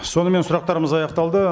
сонымен сұрақтарымыз аяқталды